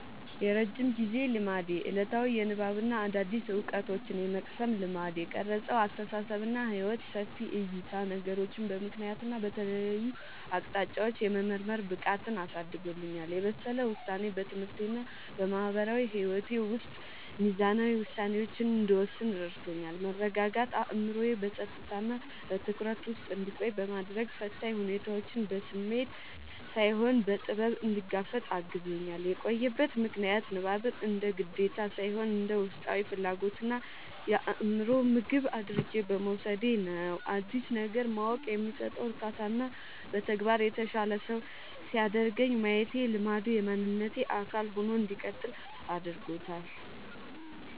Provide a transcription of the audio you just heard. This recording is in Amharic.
የረጅም ጊዜ ልማዴ፦ ዕለታዊ የንባብና አዳዲስ ዕውቀቶችን የመቅሰም ልማድ። የቀረጸው አስተሳሰብና ሕይወት፦ ሰፊ ዕይታ፦ ነገሮችን በምክንያትና በተለያዩ አቅጣጫዎች የመመርመር ብቃትን አሳድጎልኛል። የበሰለ ውሳኔ፦ በትምህርቴና በማህበራዊ ሕይወቴ ውስጥ ሚዛናዊ ውሳኔዎችን እንድወስን ረድቶኛል። መረጋጋት፦ አእምሮዬ በጸጥታና በትኩረት ውስጥ እንዲቆይ በማድረግ፣ ፈታኝ ሁኔታዎችን በስሜት ሳይሆን በጥበብ እንድጋፈጥ አግዞኛል። የቆየበት ምክንያት፦ ንባብን እንደ ግዴታ ሳይሆን እንደ ውስጣዊ ፍላጎትና የአእምሮ ምግብ አድርጌ በመውሰዴ ነው። አዲስ ነገር ማወቅ የሚሰጠው እርካታና በተግባር የተሻለ ሰው ሲያደርገኝ ማየቴ ልማዱ የማንነቴ አካል ሆኖ እንዲቀጥል አድርጎታል።